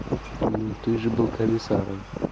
ну ты же был комиссаром